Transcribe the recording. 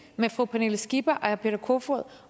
med fru pernille skipper og herre peter kofod